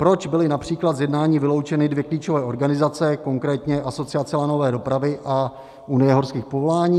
Proč byly například z jednání vyloučeny dvě klíčové organizace, konkrétně Asociace lanové dopravy a Unie horských povolání?